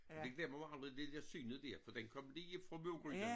Det glemmer man aldrig det dér synes dér for den kom lige fra blodgryden